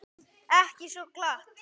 Ekki svo glatt.